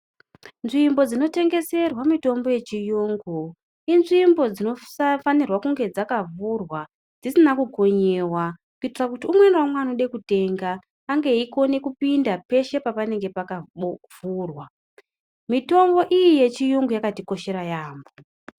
Nzvimbo dzinotengeserwa mitombo yechiyungu inzvimbo dzinosafanirwe dzakavhurwa dzisina kukonyiwa kuitira kuti umwe naumwe unode kutenga ange eikona kupinda peshe pakanenge pakavhurwa , mitombo iyi yechiyungu yakabatikoshera yamho